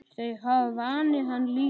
Þau hafa vanið hann illa.